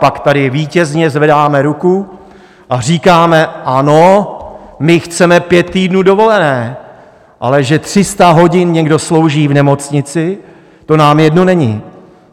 Pak tady vítězně zvedáme ruku a říkáme: Ano, my chceme pět týdnů dovolené, ale že 300 hodin někdo slouží v nemocnici, to nám jedno není.